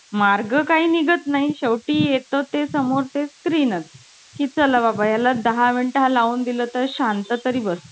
मग मी पटकन मारून मोकळी झाली मारून मोकळी व्हायची मी तू असं कोणाला मारलंयस का शाळेत, वर्गात?